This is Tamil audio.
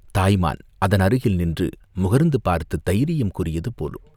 தாய் மான் அதனருகில் நின்று முகர்ந்து பார்த்துத் தைரியம் கூறியது போலும்!